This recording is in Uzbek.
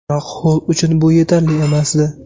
Biroq Holl uchun bu yetarli emasdi.